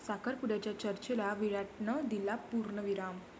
साखरपुड्याच्या चर्चेला विराटनं दिला पूर्णविराम